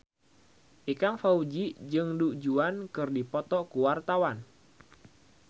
Ikang Fawzi jeung Du Juan keur dipoto ku wartawan